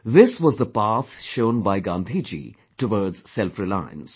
This was the path shown by Gandhi ji towards self reliance